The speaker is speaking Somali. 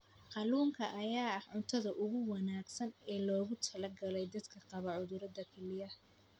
Kalluunka ayaa ah cuntada ugu wanaagsan ee loogu talagalay dadka qaba cudurrada kelyaha.